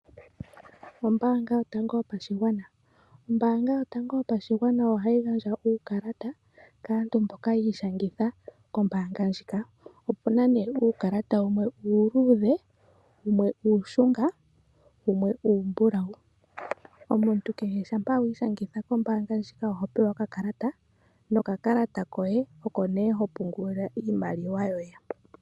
Ombaanga yotango yopashigwana. Ombaanga yotango yopashigwana ohayi gandja uukalata kaantu mboka yiishangitha kombaanga ndjika. Opuna nee uukalata wumwe uuluudhe wumwe uushunga wumwe uumbulawu. Omuntu kehe shampa wiishangitha kombaanga ndjika oho pewa okakalata kombaanga ndjika opo wukale hopungulila iimaliwa yoye.